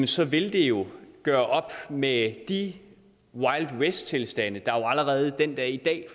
så ville det jo gøre op med de wildwesttilstande der allerede den dag i dag